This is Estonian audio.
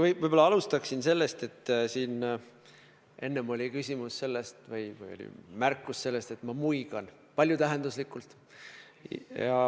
Ma võib-olla alustan sellest, et siin enne tehti märkus, et ma muigan paljutähenduslikult.